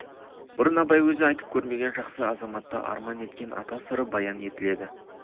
бұрын абай өзі айтып көрмеген жақсы азаматты арман еткен ата сыры баян етіледі